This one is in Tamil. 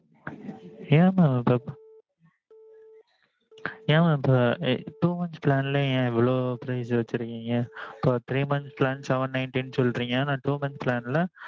ஏன் mam இப்போ ஏன் mam இப்போ ~ two months plan ல ஏன் இவ்வளவு price வச்சிருக்கீங்க? அப்போ three months plan seven ninety ன்னு சொல்றீங்க ஆனா two months plan ல